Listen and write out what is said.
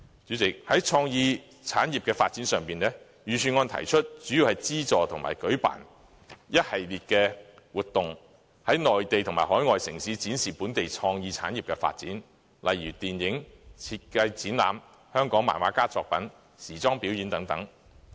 主席，在創意產業發展上，預算案主要提出資助和舉辦一系列活動，在內地及海外城市展示本地創意產業的發展，例如舉辦電影展、設計展覽、香港漫畫家作品展覽和時裝表演等。